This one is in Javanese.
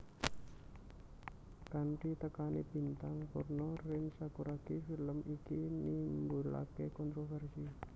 Kanthi tekane bintang porno Rin Sakuragi film iki nimbulake kontroversi